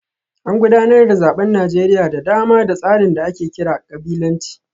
An gudanar da zaben Najeriya da dama da tsarin da ake kira kabilanci